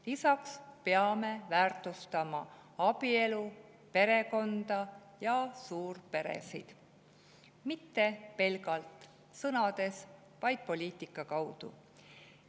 Lisaks peame väärtustama abielu, perekonda ja suurperesid – mitte pelgalt sõnades, vaid poliitika kaudu.